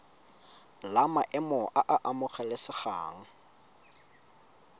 la maemo a a amogelesegang